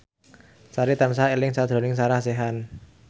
Sari tansah eling sakjroning Sarah Sechan